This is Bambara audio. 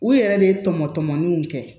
U yɛrɛ de ye tɔmɔtɔmɔni kɛ